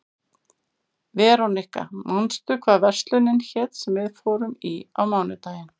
Veróníka, manstu hvað verslunin hét sem við fórum í á mánudaginn?